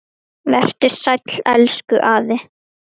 Vertu sæll, elsku afi.